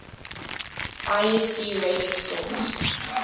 lsd radix sort